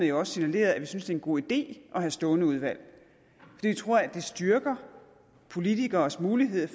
jo også signaleret at vi synes en god idé at have stående udvalg jeg tror at det styrker politikeres mulighed